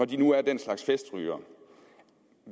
de nu er den slags festrygere